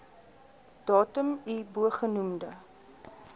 datum i bogenoemde